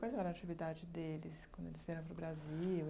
Qual era a atividade deles quando eles vieram para o Brasil...